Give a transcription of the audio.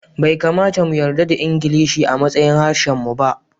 Bai kamata mu yarda da Ingilishi a matsayin harshen mu ba